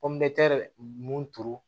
mun turu